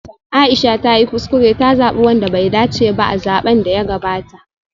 Aisha ta yi kuskure ta zabi wanda bai dace ba a zaben da ya gabata